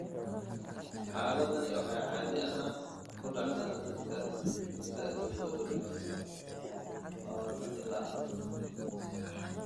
Xaaladdani waxay caadi ahaan ku dhacdaa dadka da'doodu u dhaxayso 20 ilaa 40 sano.